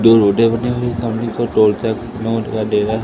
दो रोडे बनी हुई है सामने डेरा--